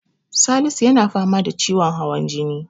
Salisu yana fama da ciwon hawan jini.